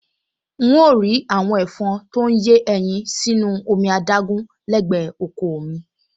N óò rí àwọn ẹ̀fọn tó ń yé ẹyin sínú omi adágún lẹ́gbẹ̀ẹ́ oko ò mi